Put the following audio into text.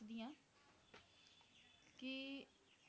ਕੀ